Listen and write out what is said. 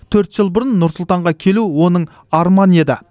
төрт жыл бұрын нұр сұлтанға келу оның арманы еді